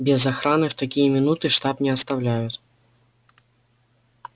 без охраны в такие минуты штаб не оставляют